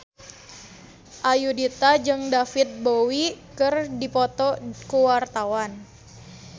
Ayudhita jeung David Bowie keur dipoto ku wartawan